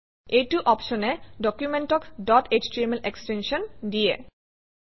এইটো অপশ্যনে ডকুমেণ্টক ডট এছটিএমএল এক্সটেনশ্যন দিয়ে